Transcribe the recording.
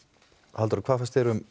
Halldóra hvað fannst þér um